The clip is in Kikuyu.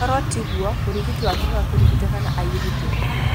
Koro tiguo, mũrigitani waku no akũrigite kana airute.